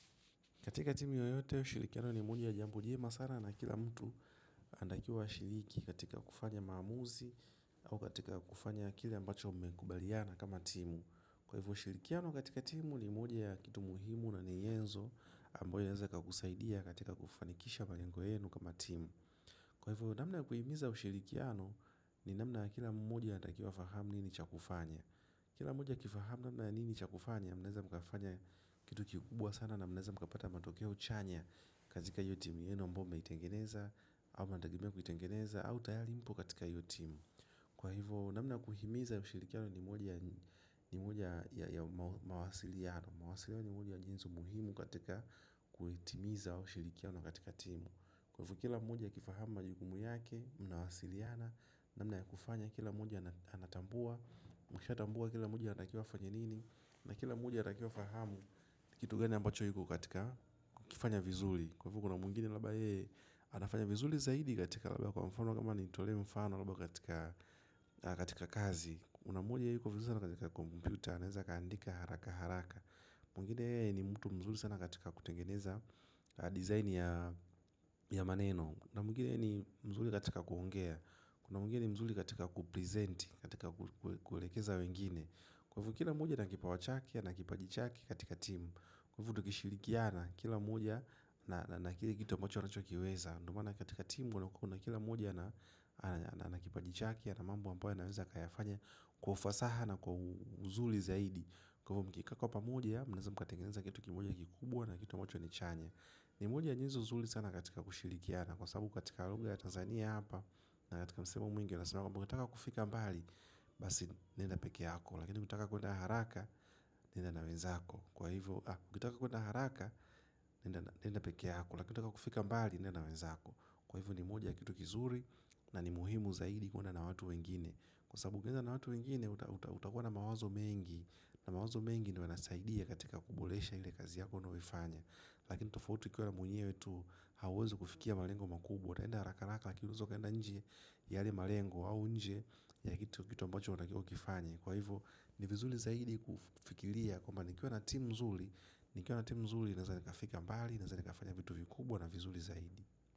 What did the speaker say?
Katika timu yoyote, ushirikiano ni moja ya jambo jema sana na kila mtu anatakiwa ashiriki katika kufanya maamuzi au katika kufanya kile ambacho mmekubaliana kama timu. Kwa hivyo ushirikiano katika timu ni moja ya kitu muhimu na ni nyenzo ambayo inaweza ikakusaidia katika kufanikisha malengo yenu kama timu kwa hivyo, namna ya kuhimiza ushirikiano ni namna ya kila moja anatakiwa afahamu nini cha kufanya. Kila moja akifahamu namna ya nini cha kufanya, mnaweza mkafanya kitu kikubwa sana na mnaweza mkapata matokea chanya. Kazika hiyo timu yenu ambayo mmeitengeneza, ama mnategemea kuitengeneza, au tayali mpo katika hiyo timu kwa hivyo, namna ya kuhimiza ya ushirikiano ni moja ya mawasiliano. Mwasiliano ni moja ya jinsi muhimu katika kuitimiza ushirikiano katika timu kwa hivyo, kila moja akifahamu majukumu yake, mnawasiliana namna ya kufanya kila moja anatambua mkishatambua kila moja anatakiwa afanye nini na kila mmoja anatakiwa afahamu kitu gani ambacho kiko katika kukifanya vizuri kwa hivyo kuna mwingine labda yeye anafanya vizuri zaidi katika labda kwa mfano kama nitolee mfano labda katika kazi kuna mmoja yeye yuko vizuri sana katika computer anaeza akaandika haraka haraka mwingini yeye ni mtu mzuri sana katika kutengeneza design ya maneno na mwingini yeye ni mzuri katika kuongea kuna mwingine ni mzuri katika kuprezenti, katika kuelekeza wengine kwa hivyo kila mmoja ana kipawa chake, ana kipaji chake katika timu kwa hivyo tukishirikiana, kila mmoja na kile kitu ambacho anachokiweza ndio maana katika timu, kuna kila mmoja ana kipaji chake, ana mambo ambayo anaweza akayafanya kwa ufasaha na kwa uzuri zaidi kw hivyo mkikaa pamoja, mnaeza mkatengeneza kitu kimoja kikubwa na kitu ambacho ni chanya ni moja ya nyezo nzuri sana katika kushirikiana na kwa sababu katika lugha ya Tanzania hapa na katika msemo mwingi unasemea mnataka kufika mbali basi nenda peke yako lakini ukitaka kwenda haraka nenda na wenzako haraka nenda peke na ukitaka mbali nenda na wenzako kwa hivyo ni moja ya kitu kizuri na ni muhimu zaidi kuenda na watu wengine kwa sababu ukienda na watu wengine utakuwa na mawazo mengi na mawazo mengi ndio yanasaidia katika kuboresha ile kazi yako unayoifanya lakini tofauti ukienda mwenyewe tu hauwezi kufikia malengo makubwa utaenda haraka haraka lakini waeza ukenda nje ya yale malengo au nje ya kitu ambacho unatakiwa ukifanye kwa hivyo ni vizuri zaidi kufikiria kwamba nikiwa na timu nzuri nikiwa na timu nzuri naeza nikafika mbali naeza nikafanya vitu vikubwa na vizuri zaidi.